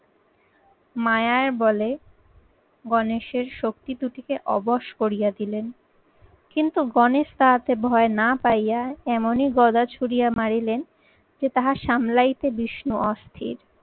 মায়ার বলে গণেশের শক্তি দুটিকে অবশ করিয়া দিলেন। কিন্তু গণেশ তাহাতে ভয় না পাইয়া এমনই গদা ছুড়িয়া মারিলেন যে তাহা সামলাইতে বিষ্ণু অস্থির।